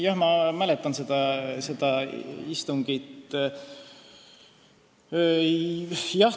Jaa, ma mäletan seda istungit.